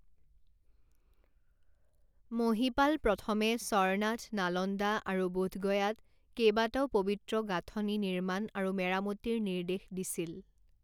মহিপাল প্ৰথমে সৰনাথ নালন্দা আৰু বোধগয়াত কেইবাটাও পৱিত্ৰ গাঁথনি নিৰ্মাণ আৰু মেৰামতিৰ নিৰ্দেশ দিছিল।